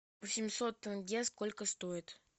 восемьсот тенге сколько стоит